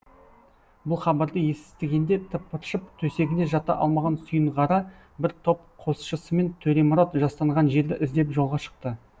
бұл хабарды естігенде тыпыршып төсегінде жата алмаған сүйінғара бір топ қосшысымен төремұрат жастанған жерді іздеп жолға шықты